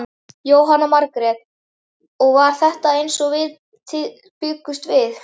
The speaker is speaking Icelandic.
Jóhanna Margrét: Og var þetta eins og þið bjuggust við?